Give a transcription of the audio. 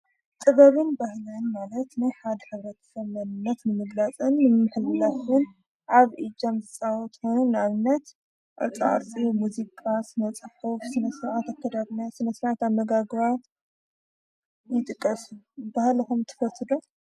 ጥበብን በህለን ማለት ናይ ሓድ ኅብረት ሰመንነት ንምግላጽን ምምህለትን ኣብኢጀም ዝዊትኑ ናኣብነት ኣርጥዓርፂ ሙዚቃስ ነጸፈፍ ስነሰውዓት ኣከዳርና ስነሥራት ኣመጋግራ ይጥቀሱ በህለኹም ትፈትዶ።